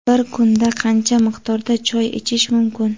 Bir kunda qancha miqdorda choy ichish mumkin?.